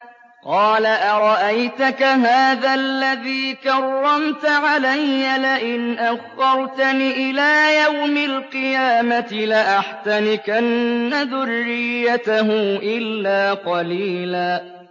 قَالَ أَرَأَيْتَكَ هَٰذَا الَّذِي كَرَّمْتَ عَلَيَّ لَئِنْ أَخَّرْتَنِ إِلَىٰ يَوْمِ الْقِيَامَةِ لَأَحْتَنِكَنَّ ذُرِّيَّتَهُ إِلَّا قَلِيلًا